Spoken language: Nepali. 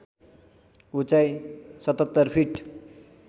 उचाइ ७७ फिट